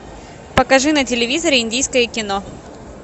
покажи на телевизоре индийское кино